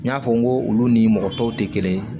N y'a fɔ n ko olu ni mɔgɔ tɔw tɛ kelen ye